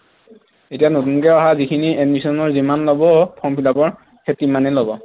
এতিয়া নতুনকে অহা যিখিনি admission ৰ যিমান লব form fill up ৰ সেই তিমানেই লব